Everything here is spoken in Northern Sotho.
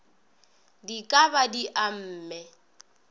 di ka ba di amme